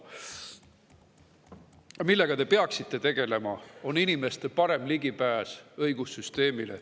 See, millega te peaksite tegelema, on inimeste parem ligipääs õigussüsteemile.